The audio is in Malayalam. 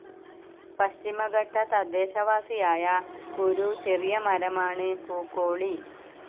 പശ്ചിമഘട്ടതദ്ദേശവാസിയായ ഒരു ചെറിയമരമാണ് പൂക്കോളി.